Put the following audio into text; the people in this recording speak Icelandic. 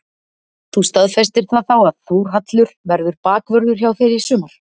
Þú staðfestir það þá að Þórhallur verður bakvörður hjá þér í sumar?